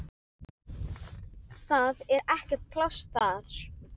Það er ekkert pláss þar.